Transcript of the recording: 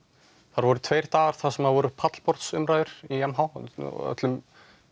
þar voru tveir dagar þar sem voru pallborðsumræður í m h og öllum